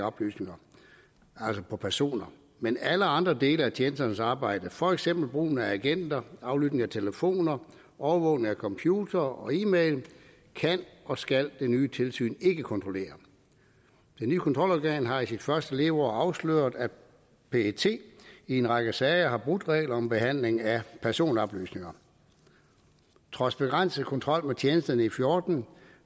oplysninger altså på personer men alle andre dele af tjenesternes arbejde for eksempel brugen af agenter aflytning af telefoner overvågning af computere og e mail kan og skal det nye tilsyn ikke kontrollere det nye kontrolorgan har i sit første leveår afsløret at pet i en række sager har brudt regler om behandling af personoplysninger trods begrænset kontrol med tjenesterne i fjorten